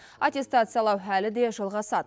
аттестациялау әлі де жалғасады